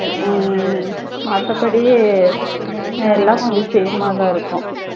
உம் மற்றபடி எல்லாம் same ஆ தான் இருக்கும்.